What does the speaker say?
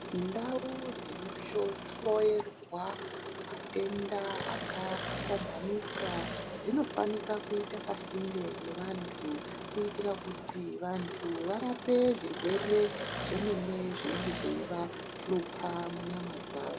Ndau dzinohloyerwa matenda akapambanuka zvinofana kuita pasinde nepadera kuita kuti vantu vaite Zvirwere zvimweni zvinohlupa munyama dzawo.